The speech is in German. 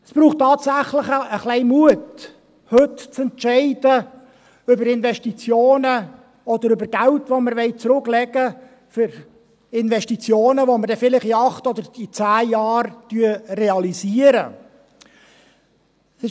Es braucht tatsächlich etwas Mut, heute über Investitionen oder Geld, das wir für Investitionen zurücklegen möchten, zu entscheiden, die wir vielleicht in acht oder zehn Jahren realisieren werden.